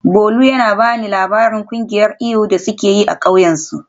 Bolu yana ba ni labarin kungiyar iyu da suke yi a kauyensu.